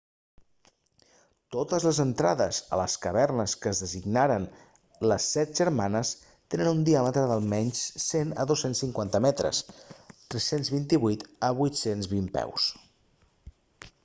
totes les entrades a les cavernes que es designaren les set germanes tenen un diàmetre d'almenys 100 a 250 metres 328 a 820 peus